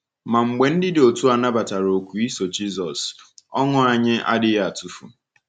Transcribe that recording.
Ma mgbe ndị dị otu a nabatara oku iso Jisọs, ọṅụ anyị adịghị atụfu.